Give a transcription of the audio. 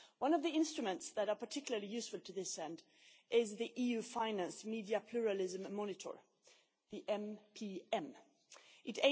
One of the instruments that is particularly useful to this end is the EU financed Media Pluralism Monitor It